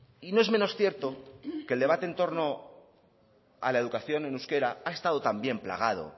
y no es menos cierto que el debate en torno a la educación en euskera ha estado también plagado